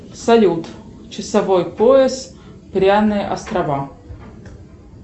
салют часовой пояс пряные острова